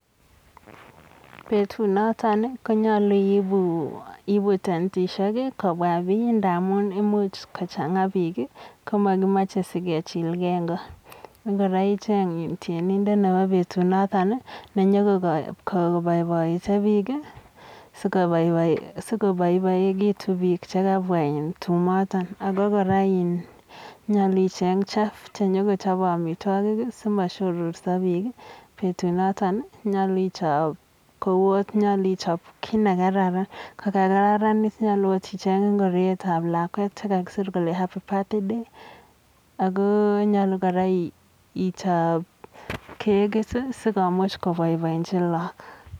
Betu noton ko nyolu iibu tentishek kobwa biik ndamun imuch kochang'a biik ko makimache sikechil gei eng ko. Ngoroicheny tyenindo nebo betunoton nenyo koboiboite biik, sikobaibaikitu biik che kabwa eng tumoton. Aku kora nyolu icheny chef chenyo ko chobei amitwogik simashororso biik, betunoton nyolu ichop kowot nyol ichop kiit ne karan, ko kararan nyolu akot icheny ngorietab lakwet che kakisir kele happy birthday ako nyolu kora ichop kekit sikomuch koboiboinji laak.